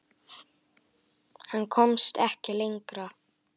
Hann komst ekki lengra.